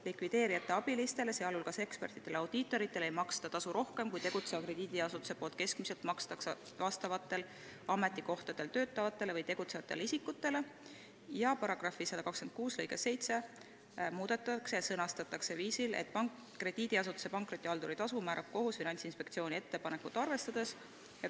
Likvideerijate abilistele, sealhulgas ekspertidele ja audiitoritele, ei maksta tasu rohkem kui tegutseva krediidiasutuse poolt keskmiselt makstakse vastavatel ametikohtadel töötavatele või tegutsevatele isikutele."; 2) paragrahvi 126 lõige 7 muudetakse ja sõnastatakse järgmiselt: " Krediidiasutuse pankrotihalduri tasu määrab kohus Finantsinspektsiooni ettepanekut arvestades.